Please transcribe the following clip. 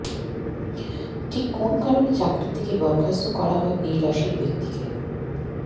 ঠিক কোন কারণে চাকরি থেকে বরখাস্ত করা হয় এই রাশির ব্যক্তিকে